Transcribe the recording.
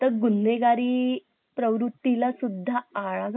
त्यात त्यांचे भाई मती दास यांचे धाकडे भाऊ सतीदास भाई दयाल आणि भाई तैजा आणि भाई उदय होते